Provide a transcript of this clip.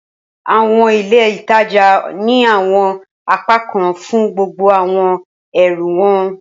Awọn ile ìtajà ni awọn apakan fun gbogbo awọn ẹrú wọn